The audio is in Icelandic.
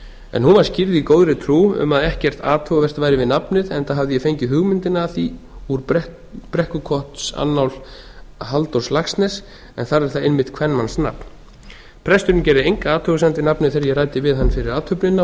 en hún var skírð í góðri trú um að ekkert athugavert væri við nafnið enda hafði ég fengið hugmyndina að því úr brekkukotsannál halldórs laxness en þar er það einmitt kvenmannsnafn presturinn gerði enga athugasemd við nafnið þegar ég ræddi við hann fyrir athöfnina